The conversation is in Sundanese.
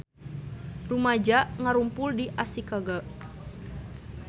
Rumaja ngarumpul di Ashikaga